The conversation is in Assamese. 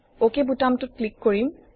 অক বুতামটোত ক্লিক কৰিম